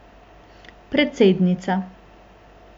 Predsednica.